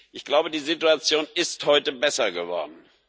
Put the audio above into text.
Ich glaube, die Situation ist heute besser geworden.